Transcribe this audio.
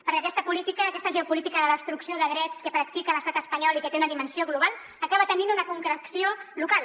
perquè aquesta política aquesta geopolítica de destrucció de drets que practica l’estat espanyol i que té una dimensió global acaba tenint una concreció local